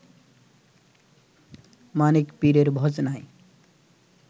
মানিক পীরের ভজনায়